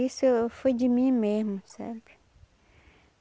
Isso foi de mim mesmo, sabe?